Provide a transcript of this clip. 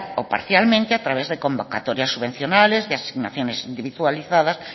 o parcialmente a través de convocatorias subvencionables y asignaciones individualizadas